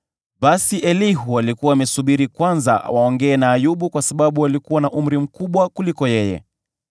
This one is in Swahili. Basi Elihu alikuwa amesubiri kwanza waongee na Ayubu kwa sababu walikuwa na umri mkubwa kumliko yeye.